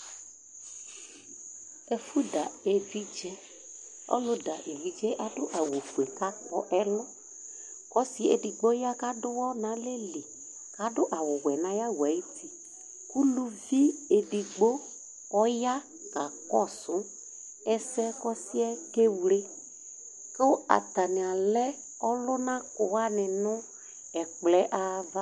Ɛfʋda evidze, ɔlʋda evidze adʋ awʋfue kʋ akpɔ ɛlʋ, Ɔsi edigbo ya kʋ adʋ ʋwɔ nʋ alɛli, adʋ awʋwɛ nʋ ayʋ awɛ ayʋ uti ʋlʋvi edigbo ɔya kakɔsʋ ɛsɛ kʋ ɔsi yɛ kewle Kʋ atani alɛ ɔlʋnakʋ wani nʋ ɛkplɔ yɛ ava